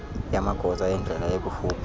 yamagosa endlela ekufuphi